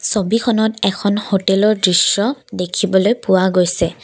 ছবিখনত এখন হোটেলৰ দৃশ্য দেখিবলৈ পোৱা গৈছে।